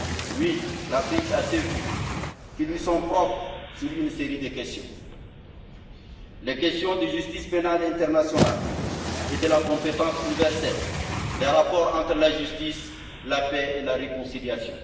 Oui, l'Afrique a des vues qui lui sont propres sur une série de questions les questions de justice pénale internationale et de la compétence universelle, les rapports entre la justice, la paix et la réconciliation.